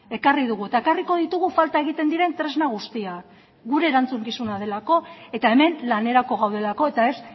ekarri dugu eta ekarriko ditugu falta egiten diren tresna guztiak gure erantzukizuna delako eta hemen lanerako gaudelako eta ez